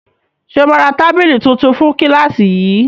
Ṣe ma ra tábìlì tuntun fún kílàsì yìí?